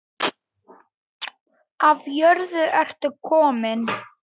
Af jörðu ertu kominn.